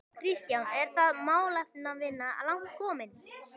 Kristján: Er þá málefnavinna langt komin?